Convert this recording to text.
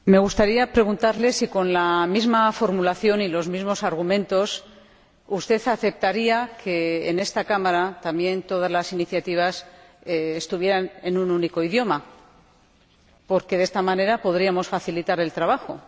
Señora Presidenta. Me gustaría preguntarle si con la misma formulación y los mismos argumentos usted aceptaría que también en esta Cámara todas las iniciativas estuvieran en un único idioma, porque de esta manera podríamos facilitar el trabajo.